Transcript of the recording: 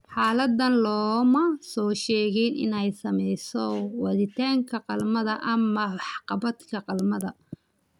Xaaladdan looma soo sheegin inay saamayso waditaanka galmada ama waxqabadka galmada.